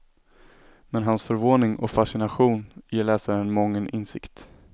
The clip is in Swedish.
Men hans förvåning och fascination ger läsaren mången insikt.